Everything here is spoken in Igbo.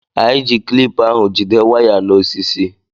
Anyị ji klip ahụ jide waya na osisi